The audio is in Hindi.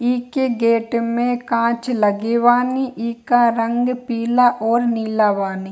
इके गेट में कांच लगे वानी इका रंग पिला और निला वानी।